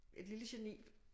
Et lille geni